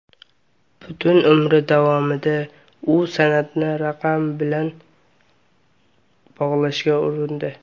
Butun umri davomida u san’atni raqamlar bilan bog‘lashga urindi.